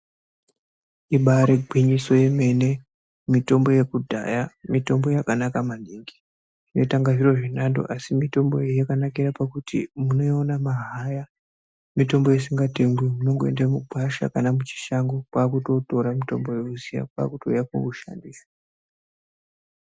Ibari gwinyiso remene mitombo yekudhaya mitombo yakanaka maningi .Zvinoita kunge zviro zvenando asi mitombo iyi yakanakira pakuti munoiona mahara. Mitombo isingatengwi munongoenda kugwasha kana kuchishango kwakutotora mutombo uyoyo kwakutouya kwakutoushandisa.